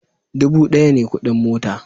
Dubu daya ne kudin mota